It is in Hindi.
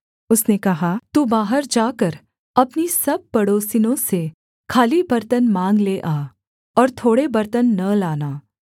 उसने कहा तू बाहर जाकर अपनी सब पड़ोसिनों से खाली बर्तन माँग ले आ और थोड़े बर्तन न लाना